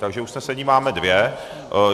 Takže usnesení máme dvě.